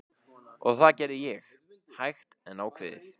Og það gerði ég, hægt en ákveðið.